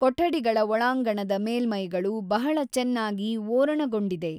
ಕೊಠಡಿಗಳ ಒಳಾಂಗಣದ ಮೇಲ್ಮೈಗಳು ಬಹಳ ಚೆನ್ನಾಗಿ ಓರಣಗೊಂಡಿದೆ.